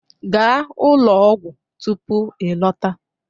Gaa ụlọ ọgwụ tupu ịlọta!